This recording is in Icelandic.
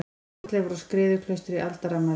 Fornleifar á Skriðuklaustri Aldarafmæli.